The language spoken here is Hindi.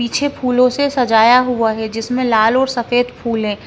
पीछे फूलों से सजाया हुआ है जिसमें लाल और सफेद फूल है।